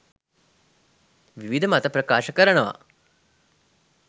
විවිධ මත ප්‍රකාශ කරනවා.